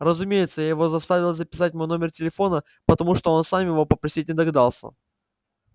разумеется я его заставила записать мой номер телефона потому что он сам его попросить не догадался